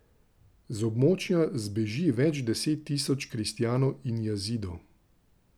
Z območja zbeži več deset tisoč kristjanov in Jazidov.